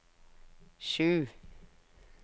sju